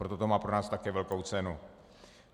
Proto to má pro nás také velkou cenu.